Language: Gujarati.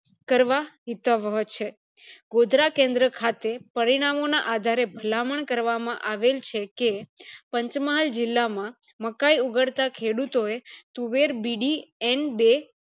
કરવા હિતવવ છે ગોધરા કેન્દ્ર ખાતે પરિણામો ના આધારે ભલામણ કરવામાં આવેલ છે કે પંચમહાલ જીલ્લા માં મકાય ઉગાડતા ખેડૂતો એ તુવેર બીડી એન બે